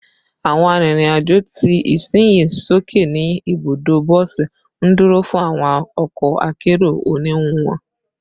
Awọn arinrin-ajo ti isinyi soke ni ibudo bosi, nduro fun awọn ọkọ akero oniwun wọn